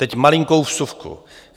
Teď malinkou vsuvku.